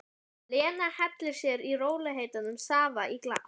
Lena hellir sér í rólegheitum safa í glas.